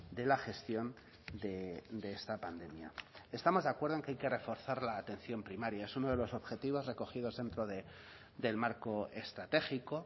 de la gestión de esta pandemia estamos de acuerdo en que hay que reforzar la atención primaria es uno de los objetivos recogidos dentro del marco estratégico